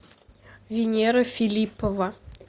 венера филиппова